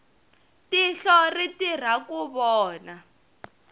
tihlo ri tirha ku vona